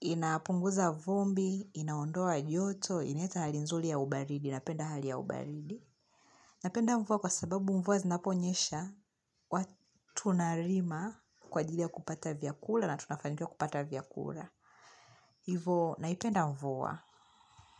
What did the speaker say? inapunguza vumbi, inaondoa joto, inaleta hali nzuli ya ubaridi, napenda hali ya ubaridi. Napenda mvua kwa sababu mvua zinaponyesha, huwa tunarima kwa ajili ya kupata vyakula na tunafanikiwa kupata vyakula. Hivo, naipenda mvua.